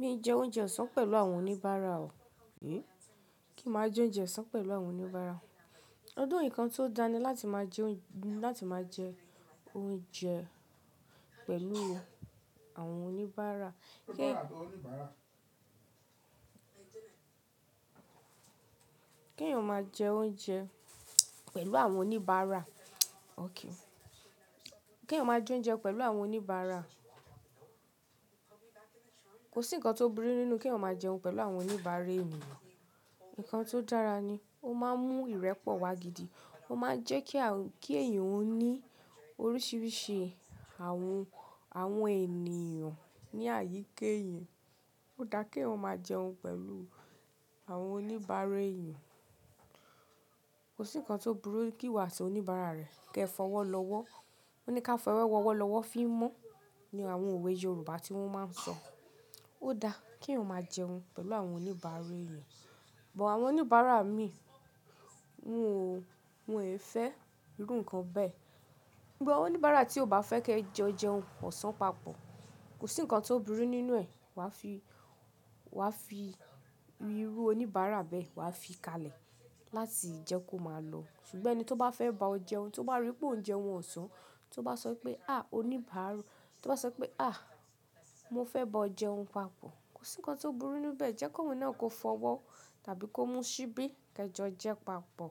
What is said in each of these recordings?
Mi jẹ oúnjẹ ọ̀sán pẹ̀lú àwọn oníbàárà o. Kí màá jẹ oúnjẹ ọ̀sán pẹ̀lú àwọn oníbàárà. Although, nǹkan tó dání láti máa jẹ oúnjẹ pẹ̀lú àwọn oníbàárà. Kí èèyàn ó máa jẹ oúnjẹ pẹ̀lú àwọn oníbàárà. Kí èèyàn ó máa jẹ oúnjẹ pẹ̀lú àwọn oníbàárà. Kò sí nǹkan tó burú nínú kí èèyàn ó máa jẹun pẹ̀lú àwọn oníbàárà ènìyàn. Ǹǹkan tó dára ni, ó máa ń mú ìrẹ́pọ̀ wá gidi, ó máa ń jẹ́ kí èèyàn ó ní oríṣiríṣi àwọn ènìyàn ní àyíka éèyan. Ó dáa kí èèyàn ó máa jẹun pẹ̀lú àwọn oníbàárà èèyàn. Kò sí nǹkan tó burú kí ìwà àti oníbàárà rẹ̀ kí ẹ fọwọ́ lọ́wọ́. Wọ́n ní ká fọ ẹwọ̀ ọwọ́ lọ́wọ́ fí mọ́ ni àwọn òwe Yorùbá tí wọ́n máa ń sọ. Ó dáa kí èèyàn ó máa jẹun pẹ̀lú àwọn oníbàárà èèyàn. But, àwọn oníbàárà mi wọ́n ò fẹ́ irún nǹkan bẹ́ẹ̀. But, oníbàárà tí o ò bá fẹ́ kí ẹ jo jẹun kò san papọ̀. Kò sí nǹkan tó burú nínú ẹ wà fi irú oníbàárà bẹ́ẹ̀ wà fi kalẹ̀ láti jẹ́ kó máa lọ. Ṣùgbọ́n ẹni tó bá fẹ́ bá ọ jẹun, tó bá rí pé ó ń jẹun ọ̀sán, tó bá sọ pé "à, oníbàárà", tó bá sọ pé "à, mo fẹ́ bá ọ jẹun papọ̀", kò sí nǹkan tó burú nínú bẹ́ẹ̀. Jẹ́ kó òun náà kó fọwọ́ tàbí kó mú síbí kí ẹ jẹun jẹ papọ̀.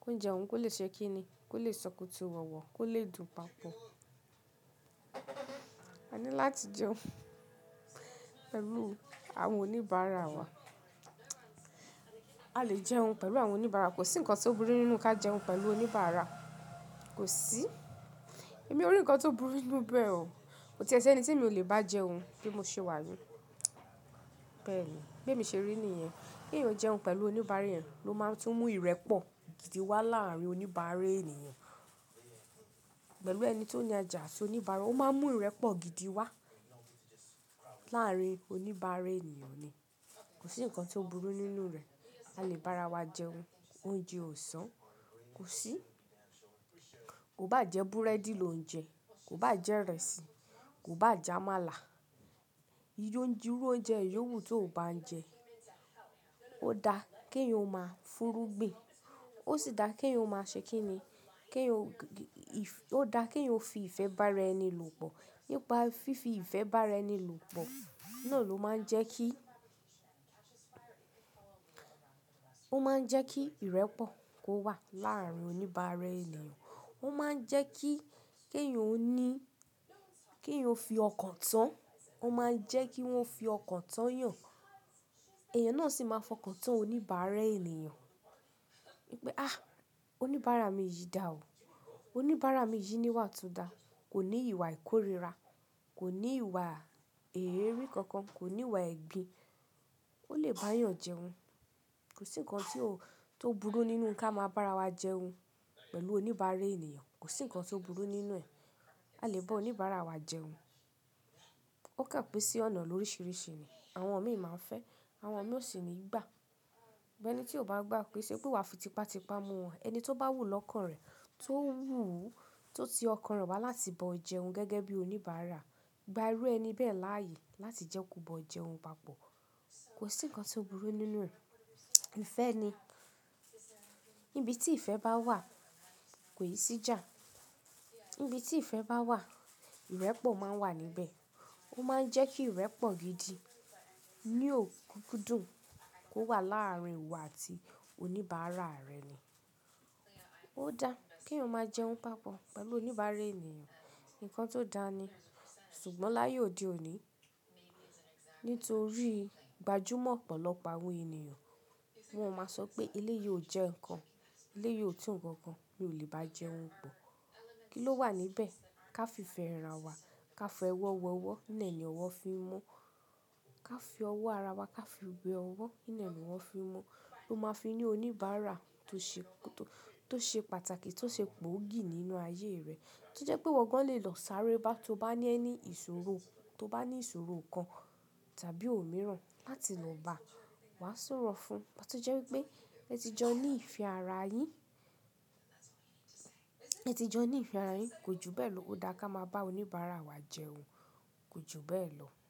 Kí ó ń jẹun kò lè ṣe kíni, kò lè sọkùtù wọ̀wọ̀, kò lè dùn papọ̀. A ní láti jẹun pẹ̀lú àwọn oníbàárà wa. A lè jẹun pẹ̀lú àwọn oníbàárà. Kò sí nǹkan tó burú nínú ká jẹun pẹ̀lú oníbàárà. Kò sí. Èmi ò rí nǹkan tó burú nínú bẹ́ẹ̀ o. Kò ti ẹ ṣi ẹni tí mi ò lè bá jẹun bí mo ṣe wà ní. Bẹ́ẹ̀ ni. Bí mo ṣe rí níyẹn. Kí èèyàn ó jẹun pẹ̀lú oníbàárà rẹ̀ ló máa tún mú ìrẹ́pọ̀ gidi wá láàárín oníbàárà ènìyàn. Pẹ̀lú ẹni tó ní àjà sì oníbàárà ó máa ń mú ìrẹ́pọ̀ gidi wá láàárín oníbàárà ènìyàn ni. Kò sí nǹkan tó burú nínú rẹ̀. A lè bá ara wa jẹun oúnjẹ ọ̀sán. Kò sí. Kò bá jẹ búrẹ́dì lò ń jẹ, kò bá jẹ ìrẹsì, kò bá jẹ ámàlà. Irú oúnjẹ ìyo wu tó ò bá ń jẹ, ó dáa kí èèyàn ó máa fúnrúgbìn. Ó sì dáa kí èèyàn ó máa ṣe kíni. Ó dáa kí èèyàn ó fi ìfẹ́ bá ara ẹni lò pọ̀. Nipá fífi ìfẹ́ bá ara ẹni lò pọ̀ náà ló máa ń jẹ́ kí kí ìrẹ́pọ̀ kó wà láàárín oníbàárà ènìyàn. Ó máa ń jẹ́ kí iyo ó fi ọkàn tán. Ó máa ń jẹ́ kí wọ́n fi ọkàn tán yàn. Ẹ̀yàn náà sì máa fọkàn tán oníbàárà ènìyàn. Wípé oníbàárà mi yìí dà o. Oníbàárà mi yìí níwà to dà. Kò ní ìwà ìkórìíra. Kò ní ìwà èérí kankan. Kò ní ìwà ẹ̀gín. Ó lè bá yàn jẹun. Kò sí nǹkan tó burú nínú ká máa bá ara wa jẹun pẹ̀lú oníbàárà ènìyàn. Kò sí nǹkan tó burú nínú ẹ. A lè bá oníbàárà wa jẹun. Ó kàn pin sí ọ̀nà oríṣiríṣi ni. Àwọn ọ̀ mí máa ń fẹ́. Àwọn ọ̀ mí ó sì ní ìgbà. Bó ẹni tí ó bá gbà pé ṣe pé wa fi tipa tipa mú wọn. Ẹni tó bá wù lọ́kàn rẹ̀, tio wu, tó ti ọkàn rẹ̀ wá láti bá ọ jẹun gẹ́gẹ́ bí oníbàárà. Gbà irú ẹni bẹ́ẹ̀ láààyè láti jẹ́ kó bá ọ jẹun papọ̀. Kò sí nǹkan tó burú nínú rẹ̀. Ìfẹ́ ni. Ibi tí ìfẹ́ bá wà kò yí sí jà. Ibi tí ìfẹ́ bá wà, ìrẹ́pọ̀ máa ń wà níbẹ̀. Ó máa ń jẹ́ kí ìrẹ́pọ̀ gidi ní òkúnkúndùn kó wà láàárín ìwọ àti oníbàárà rẹ ni. Ó dáa kí èèyàn ó máa jẹun papọ̀ pẹ̀lú oníbàárà ènìyàn. Ǹǹkan tó dáa ni. Ṣùgbọ́n láyé òde òní, nítorí gbajúmọ̀ ọ̀pọ̀lọpọ̀ àwọn ènìyàn, wọ́n máa sọ pé ilé yìí ò jẹ́ nǹkan. Ilé yìí ò tún nǹkan kan. Mi ò lè bá jẹun bọ̀. Kí ló wà níbẹ̀? Ká fi ìfẹ́ ra wa. Ká fọ ẹwọ̀ wọ ẹwọ̀. Ní ẹyin owọ̀ fi mọ́. Ká fi ọwọ́ ara wa ká fi we owọ̀. Ní ẹyin owọ̀ fi mọ́. Máa fi ní oníbàárà tó ṣe pàtàkì, tó ṣe gbòógì nínú ayé rẹ̀. Tó jẹ́ pé ìwọ gan-an lè lọ sáré bá ti ó bá ní any ìṣòro, tó bá ní ìṣòro kan tàbí òmíràn láti lọ bá wà súrọ̀ fún. Tí ó jẹ́ wípé ẹ ti jọ ní ìfẹ́ ara yín, ẹ ti jọ ní ìfẹ́ ara yín, kò ju bẹ́ẹ̀ lọ. Ó dáa ká máa bá oníbàárà wa jẹun kò ju bẹ́ẹ̀ lọ.